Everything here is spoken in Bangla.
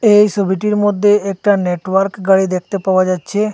এই ছবিটির মধ্যে একটা নেটওয়ার্ক গাড়ি দেখতে পাওয়া যাচ্ছে।